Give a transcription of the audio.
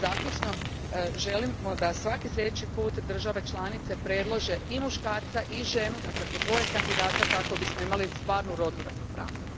Zaključno, želimo da svaki sljedeći put države članice predlože i muškarca i ženu, dakle po dvoje kandidata, kako bismo imali stvarnu rodnu ravnopravnost.